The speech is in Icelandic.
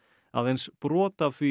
aðeins brot af því